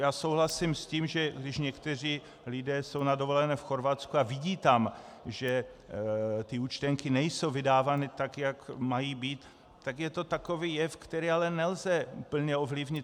Já souhlasím s tím, že když někteří lidé jsou na dovolené v Chorvatsku a vidí tam, že ty účtenky nejsou vydávány tak, jak mají být, tak je to takový jev, který ale nelze úplně ovlivnit.